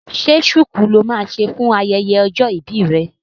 Ṣé ṣuku lo máa ṣe fún ayẹyẹ ọjọ́ ìbí rẹ?